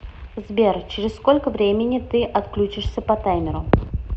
сбер через сколько времени ты отключишься по таймеру